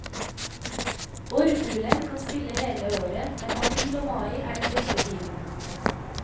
Orrfuglen kan spille hele året, men april og mai er den beste tiden.